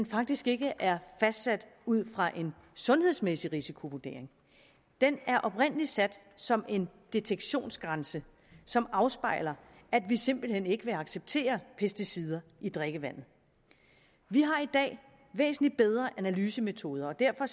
faktisk ikke er fastsat ud fra en sundhedsmæssig risikovurdering den er oprindelig sat som en detektionsgrænse som afspejler at vi simpelt hen ikke vil acceptere pesticider i drikkevandet vi har i dag væsentlig bedre analysemetoder derfor